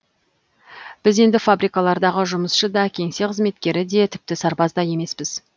біз енді фабрикалардағы жұмысшы да кеңсе қызметкері де тіпті сарбаз да емеспіз